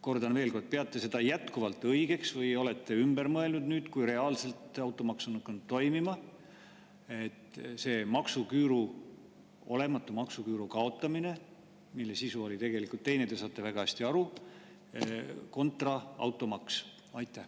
Kordan veel kord: kas te peate seda jätkuvalt õigeks või olete ümber mõelnud nüüd, kui reaalselt automaks on hakanud toimima, et see olematu maksuküüru kaotamine, mille sisu oli tegelikult teine, te saate väga hästi aru, kontra automaks?